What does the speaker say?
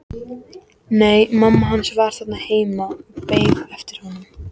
Nei, mamma hans var þarna heima og beið eftir honum.